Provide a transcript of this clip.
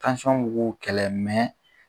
b'u ko kɛlɛ .